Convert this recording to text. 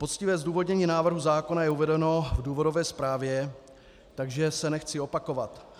Poctivé zdůvodnění návrhu zákona je uvedeno v důvodové zprávě, takže se nechci opakovat.